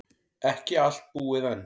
Ekki allt búið enn.